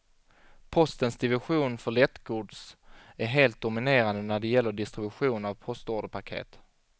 Postens division för lättgods är helt dominerande när det gäller distribution av postorderpaket.